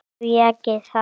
Því ekki það?